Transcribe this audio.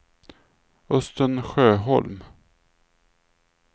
Östen Sjöholm